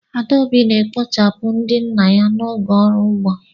Adaobi na-ekpochapụ ndị nna ya n'oge ọrụ ugbo.